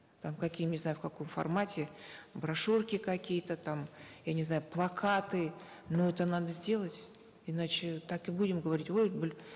там какие не знаю в каком формате брошюрки какие то там я не знаю плакаты но это надо сделать иначе так и будем говорить вот